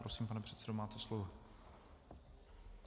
Prosím, pane předsedo, máte slovo.